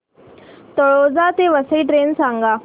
तळोजा ते वसई ट्रेन सांग